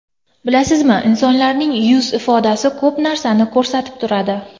Bilasizmi, insonlarning yuz ifodasi ko‘p narsani ko‘rsatib turadi.